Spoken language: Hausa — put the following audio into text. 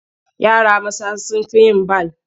Yara maza sun fi yin bal.